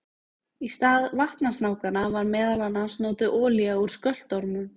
Í stað vatnasnákanna var meðal annars notuð olía úr skröltormum.